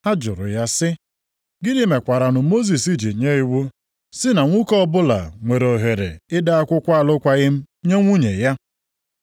Ha jụrụ ya sị, “Gịnị mekwaranụ Mosis ji nye iwu si na nwoke ọbụla nwere ohere ide akwụkwọ alụkwaghị m nye nwunye ya?”